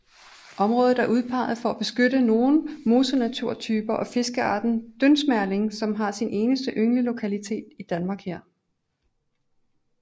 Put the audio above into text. Området er udpeget for at beskytte nogle mosenaturtyper og fiskearten dyndsmerling som har sin eneste ynglelokalitet i Danmark her